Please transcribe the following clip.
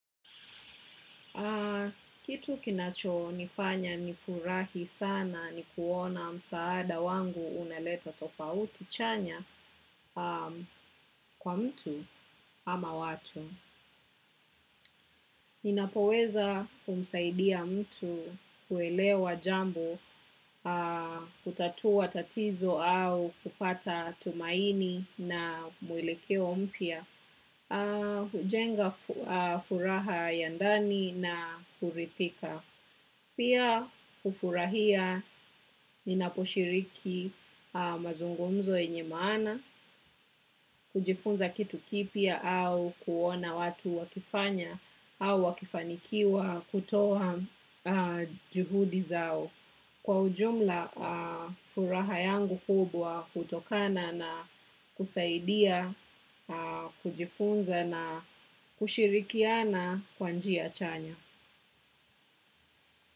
Kitu kinacho nifanya nifurahi sana ni kuona msaada wangu uneleta tofauti chanya kwa mtu ama watu. Ninapoweza kumsaidia mtu kuelewa jambo, kutatua tatizo au kupata tumaini na mwilekeo mpya. Hujenga furaha ya ndani na hurithika. Pia hufurahi ninaposhiriki mazungumzo yenye maana, kujifunza kitu kipya au kuona watu wakifanya au wakifanikiwa kutoa juhudi zao. Kwa jumla furaha yangu kubwa hutokana na kusaidia, kujifunza na kushirikiana kwa njia chanya.